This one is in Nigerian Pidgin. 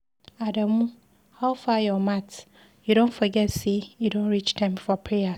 Adamu, howfar your mat? You don forget say e don reach time for prayers.